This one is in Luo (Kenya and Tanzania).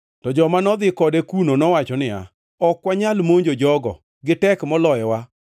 To joma nodhi kode kuno nowacho niya, “Ok wanyal monjo jogo; gitek moloyowa.”